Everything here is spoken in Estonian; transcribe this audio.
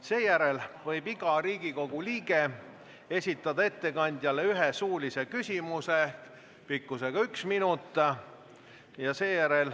Seejärel võib iga Riigikogu liige esitada ettekandjale ühe suulise küsimuse, mille pikkus on üks minut.